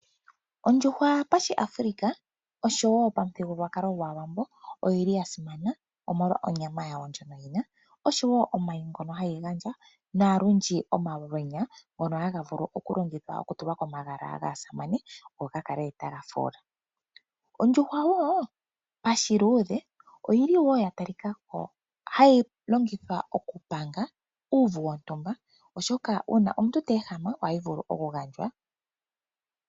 Ondjuhwa pashiAfrika oshowo pamuthigululwakalo gwaawambo oyi li ya simana omolwa onyama yawo ndjono yina oshowo omayi ngono hayi gandja nolundji omalwenya ngono haga vulu okulongithwa kutulwa komagala gaasamane opo ga kale taga fuula. Ondjuhwa pashiluudhe oyili wo ya tali ka ko hayi longithwa okupanga uuvu wontumba oshoka ngele omuntu oteehama oha yi vulu okugandjwa.